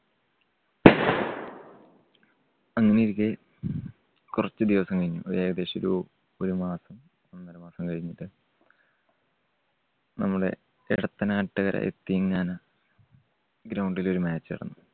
അങ്ങനെയിരിക്കെ കുറച്ച് ദിവസം കഴിഞ്ഞു ഒരു ഏകദേശം ഒരു, ഒരു മാസം ഒന്നര മാസം കഴിഞ്ഞിട്ട് നമ്മടെ എടത്തനാട്ട് യതീംഖാന ground ല് ഒരു match നടന്നു.